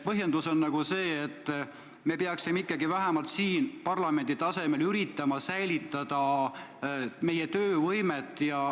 Põhjendus on see, et me peaksime ikkagi parlamendi tasemel üritama säilitada töövõimet.